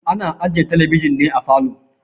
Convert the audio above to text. Ana ajiye talabijin ne a falo.